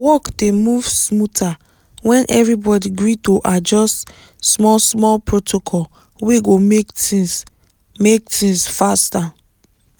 work dey move smoother when everybody gree to adjust small-small protocol wey go make things make things faster.